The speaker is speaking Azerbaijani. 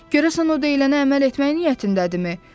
Görəsən o deyilənə əməl etmək niyyətindədirmi?